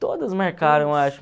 Todas marcaram, acho.